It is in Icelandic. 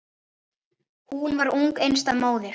Hún varð ung einstæð móðir.